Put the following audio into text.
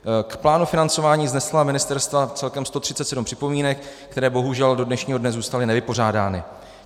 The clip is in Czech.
K plánu financování vznesla ministerstva celkem 137 připomínek, které bohužel do dnešního dne zůstaly nevypořádány.